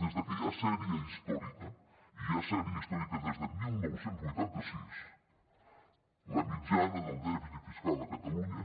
des que hi ha sèrie històrica i hi ha sèrie històrica des de dinou vuitanta sis la mitjana del dèficit fiscal a catalunya